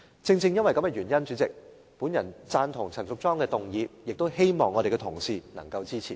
主席，正因如此，我贊同陳淑莊議員的議案，亦希望同事能夠支持。